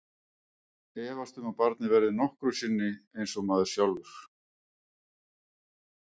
Efast um að barnið verði nokkru sinni eins og maður sjálfur.